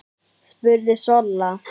spurði Solla.